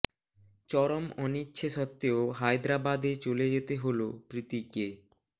চরম অনিচ্ছে সত্ত্বেও হায়দ্রাবাদ এ চলে যেতে হলো প্রীতিকে